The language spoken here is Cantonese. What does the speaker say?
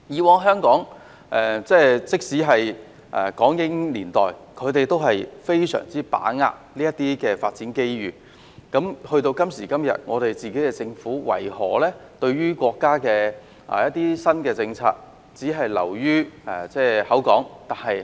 過去，包括在港英年代，香港善於把握發展機遇；到了今天，為何香港政府對於國家的新政策只是流於空談？